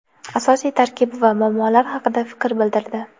asosiy tarkib va muammolar haqida fikr bildirdi;.